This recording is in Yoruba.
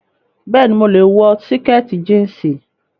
Bẹẹni, mo lè wọ síkìtì jíǹsì